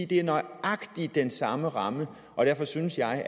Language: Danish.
det er nøjagtig den samme ramme og derfor synes jeg